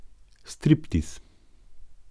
Striptiz?